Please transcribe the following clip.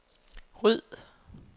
ryd